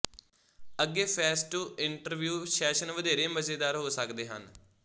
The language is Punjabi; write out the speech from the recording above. ਅੱਗੇ ਫੇਸਟੂ ਇੰਟਰਵਿਯੂ ਸੈਸ਼ਨ ਵਧੇਰੇ ਮਜ਼ੇਦਾਰ ਹੋ ਸਕਦੇ ਹਨ